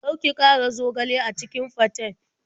Kar ki ƙara zogale a cikin faten.